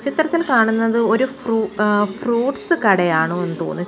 ചിത്രത്തിൽ കാണുന്നത് ഒരു ഫ്രൂ ങ് ഫ്രൂട്ട്സ് കടയാണോ എന്ന് തോന്നിച്ച് --